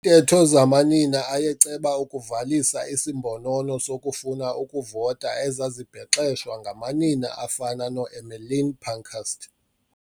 ntetho zamanina ayeceba ukuvalisa isimbonono sokufuna ukuvota ezazibhexeshwa ngamanina afana noEmmeline Pankhurst.